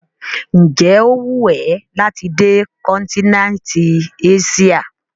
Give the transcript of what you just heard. Ǹjẹ́ ó wù ẹ́ láti dé kọ́ńtíneńtì Eṣíà?